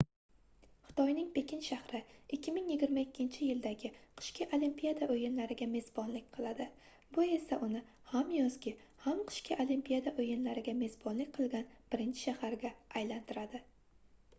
xotiyning pekin shahri 2022-yildagi qishki olimpiada oʻyinlariga mezbonlik qiladi bu esa uni ham yozgi ham qishki olimpiada oʻyinlariga mezbonlik qilgan birinchi shaharga aylantiradi